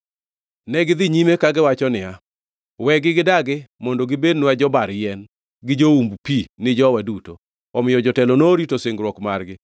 Negidhi nyime kagiwacho niya, “Wegi gidagi, mondo gibednwa jobar yien gi joumb pi ni jowa duto.” Omiyo jotelo norito singruok margi.